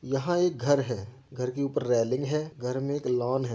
यहाँ एक घर है। घर के ऊपर रेलिंग है घर मे एक लॉन है।